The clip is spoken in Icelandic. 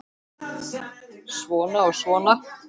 Svona og svona.